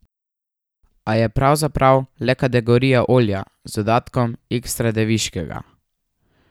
A je pravzaprav le kategorija olja z dodatkom ekstra deviškega.